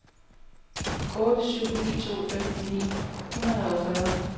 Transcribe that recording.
otte syv ni to femten ni hundrede og fyrre